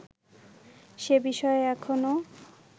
সে বিষয়ে এখনও